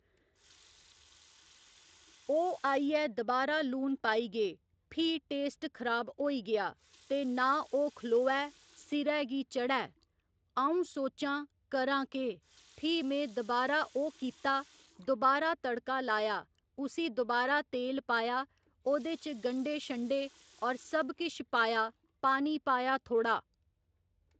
ओह् आइयै दबारा लून पाई गे फ्ही टेस्ट खराब होई गेआ ते ना ओह् खलोऐ सिरा गी चढ़ै अ'ऊं सोचां करां केह् फ्ही में दोबारा ओह् कित्ता दोबारा तड़का लाया उसी दोबारा तेल पाया ओह्‌दे च गंढे छंडे और सब किश पाया पानी पाया थोह्‌ड़ा